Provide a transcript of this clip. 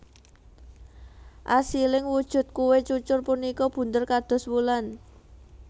Asiling wujud kué cucur punika bunder kados wulan